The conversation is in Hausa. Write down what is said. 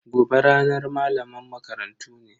Gobe ranar malaman makarantu ne.